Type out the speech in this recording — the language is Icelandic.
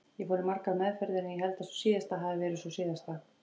Ég fór í margar meðferðir en ég held að sú síðasta hafi verið sú síðasta.